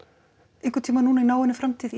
einhvern tímann núna í náinni framtíð í